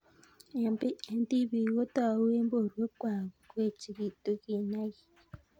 Eng tibik kotou eng borwek kwaal koechekitu kinaik.